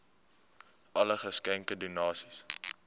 alle geskenke donasies